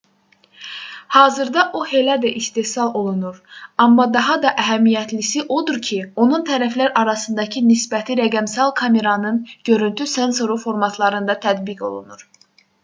hazırda o hələ də istehsal olunur amma daha da əhəmiyyətlisi odur ki onun tərəflər arasındakı nisbəti rəqəmsal kameranın görüntü sensoru formatlarında tətbiq olunur